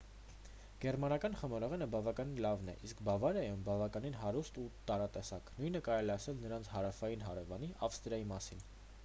գերմանական խմորեղենը բավականին լավն է իսկ բավարիայում բավականին հարուստ ու տարատեսակ նույնը կարելի է ասել նրանց հարավային հարևանի ավստրիայի մասին